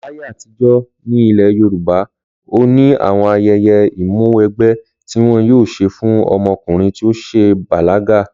Láyé àtijó̩ ní ilè̩ Yorùbá, ó ní àwo̩n aye̩ye̩ ìmúwégbé̩ ti wo̩n yóò s̩e fún o̩mo̩kùnrin tí ó s̩è̩ bàlága